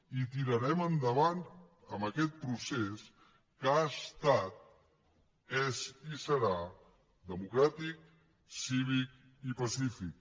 i tirarem endavant amb aquest procés que ha estat és i serà democràtic cívic i pacífic